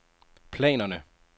planerne